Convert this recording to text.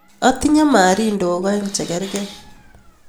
Atinye marindok aeng' che kerkey